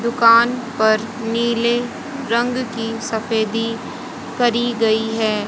दुकान पर नीले रंग की सफेदी करी गई हैं।